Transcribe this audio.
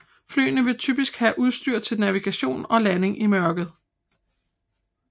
Flyene vil typisk have udstyr til navigation og landing i mørke